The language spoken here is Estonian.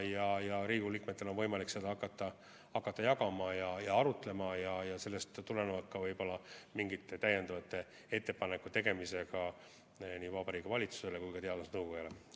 Ja siis Riigikogu liikmetel on võimalik hakata seda infot jagama ja selle üle arutlema ja sellest tulenevalt ka võib-olla mingeid täiendavaid ettepanekuid tegema nii Vabariigi Valitsusele kui ka teadusnõukojale.